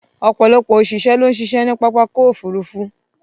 Ọ̀pọ̀lọpọ̀ ọ̀ṣìṣẹ́ ló ń ṣiṣẹ́ ní pápákọ̀ òfurufú.